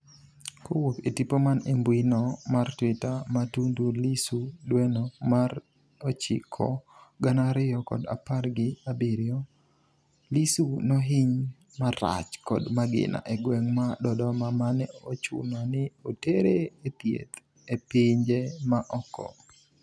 kowuok e tipo man e mbuino mar twitter ma Tundu Lissu dweno mar ochiko gana ariyo kod apar gi abirio, Lissu nohiny marach kod magina e gweng' ma Dodoma mane ochuno ni otere e thieth e pinje ma oko